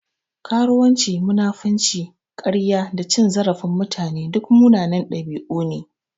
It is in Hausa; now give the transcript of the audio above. Karuwanci, munafinci, karya da cin zarafin mutane duk munanan ɗabi'u ne.